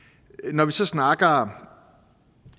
når vi så snakker